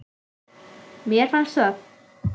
Mér finnst það.